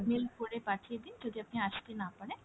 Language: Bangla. mail করে পাঠিয়ে দিন যদি আপনি আসতে না পারেন,